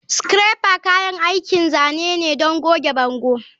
Scraper kayan aikin zane ne don goge bango.